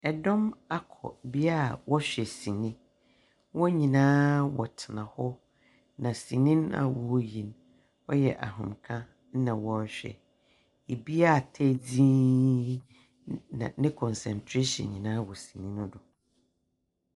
Ɛdɔm akɔ bea a wɔhwɛ sini. Wɔn nyinaa wɔtena hɔ, na sini no a wɔreyi no, ɔyɛ ahomeka na wɔɔrehwɛ. Ɛbi atae dzin, na ne concerntration nyinaa wɔ sini no do.